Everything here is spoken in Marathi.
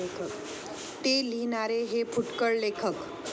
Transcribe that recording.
ते लिहिणारे हे फुटकळ लेखक.